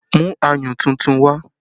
Mú ayùn tuntun wá!